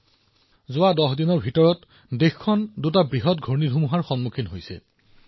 মাত্ৰ যোৱা ১০টা দিনত দেশখনে দুটা ডাঙৰ ঘূৰ্ণীবতাহৰ সন্মুখীন হৈছে